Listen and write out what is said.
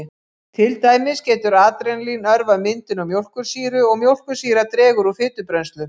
Til dæmis getur adrenalín örvað myndun á mjólkursýru og mjólkursýra dregur úr fitubrennslu.